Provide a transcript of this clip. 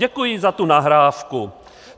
Děkuji za tu nahrávku.